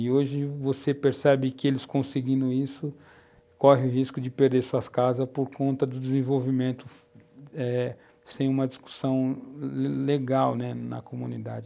E hoje você percebe que eles conseguindo isso, correm risco de perder suas casas por conta do desenvolvimento eh sem uma discussão legal, né, na comunidade.